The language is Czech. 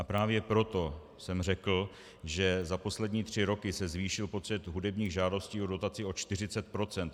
A právě proto jsem řekl, že za poslední tři roky se zvýšil počet hudebních žádostí o dotaci o 40 procent.